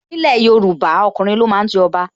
Ni ilẹ̀ Yorùbá, ọkùnrin lo máa ń jọba.